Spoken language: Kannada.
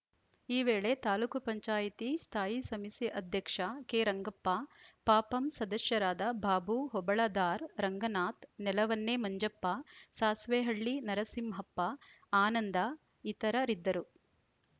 ಈ ವೇಳೆ ತಾಲೂಕ್ ಪಂಚಾಯತ್ ಸ್ಥಾಯಿ ಸಮಿತಿ ಅಧ್ಯಕ್ಷ ಕೆರಂಗಪ್ಪ ಪಪಂ ಸದಸ್ಯರಾದ ಬಾಬೂ ಹೊಬಳದಾರ್‌ ರಂಗನಾಥ್‌ ನೆಲವನ್ನೇ ಮಂಜಪ್ಪ ಸಾಸ್ವೇಹಳ್ಳಿ ನರಸಿಂಹಪ್ಪ ಆನಂದ ಇತರರಿದ್ದರು